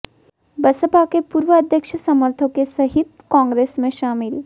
बसपा के पूर्व अध्यक्ष समर्थकों सहित कांग्रेस में शामिल